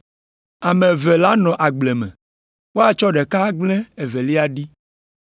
Ame eve lanɔ agble me, woatsɔ ɖeka agblẽ evelia ɖi.”